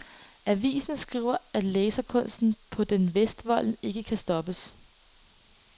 Avisen skriver den, at laserkunsten på den vestvolden ikke kan stoppes.